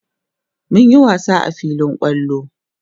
mun Yi wasa a filin kwallo